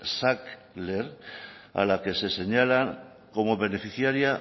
sackler a la que se señala como beneficiaria